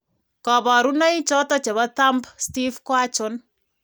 kabarunaik choton chebo Thumb stiff ko achon ?